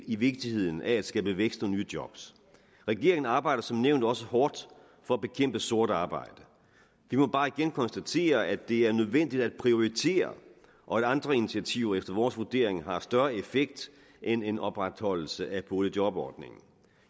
i vigtigheden af at skabe vækst og nye job regeringen arbejder som nævnt også hårdt for at bekæmpe sort arbejde vi må bare igen konstatere at det er nødvendigt at prioritere og at andre initiativer efter vores vurdering har større effekt end en opretholdelse af boligjobordningen